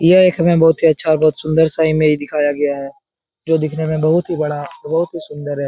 यह एक हमें बहुत ही अच्छा और बहुत सुन्दर सा इमेज दिखाया गया है जो दिखने में बहुत ही बड़ा और बहुत ही सुन्दर है।